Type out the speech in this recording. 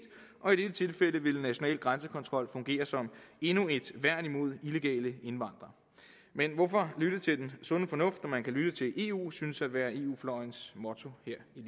og i dette tilfælde ville national grænsekontrol fungere som endnu et værn imod illegale indvandrere men hvorfor lytte til den sunde fornuft når man kan lytte til eu synes at være eu fløjens motto her